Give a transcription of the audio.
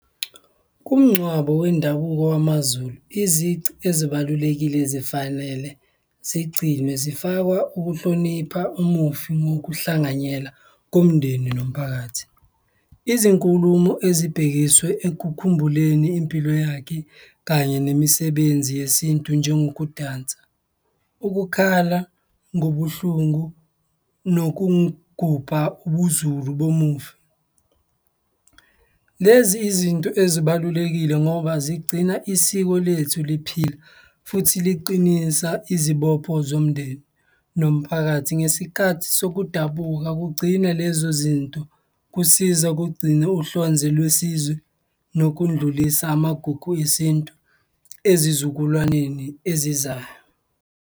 Kumngcwabo wendabuko wamaZulu, izici ezibalulekile zifanele zigcinwe. Zifakwa ukuhlonipha umufi nokuhlanganyela komndeni nomphakathi, izinkulumo ezibhekiswe engikukhumbuleni impilo yakhe kanye nemisebenzi yesintu njengokudansa, ukukhala ngobuhlungu nokugubha ubuZulu bomufi. Lezi izinto ezibalulekile ngoba zigcina isiko lethu liphila futhi liqinisa izibopho zomndeni nomphakathi ngesikhathi sokudabuka kugcina lezo zinto, kusiza ukugcina uhlonze lwesizwe nokudlulisa amagugu esintu ezizukulwaneni ezizayo.